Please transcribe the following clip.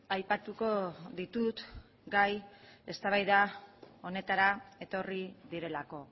aipatuko ditut gai eztabaida honetara etorri direlako